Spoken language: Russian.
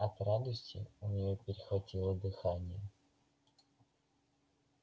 от радости у нее перехватило дыхание